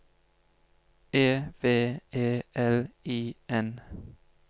E V E L I N